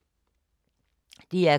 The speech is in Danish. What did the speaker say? DR K